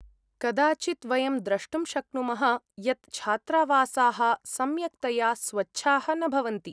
कदाचित् वयं द्रष्टुं शक्नुमः यत् छात्रावासाः सम्यक्तया स्वच्छाः न भवन्ति।